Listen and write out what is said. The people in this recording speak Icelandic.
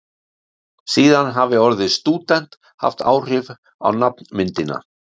síðan hafi orðið stúdent haft áhrif á nafnmyndina